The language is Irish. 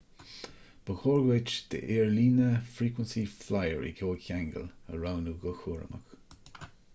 ba chóir duit d'aerlíne frequency flyer i gcomhcheangal a roghnú go cúramach